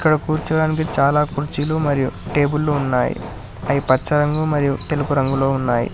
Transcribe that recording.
ఇక్కడ కూర్చోవడానికి చాలా కుర్చీలు టేబులు మరియు కుర్చీలు ఉన్నాయి అవి పచ్చి రంగు మరియు తెలుగు రంగులో ఉన్నాయి.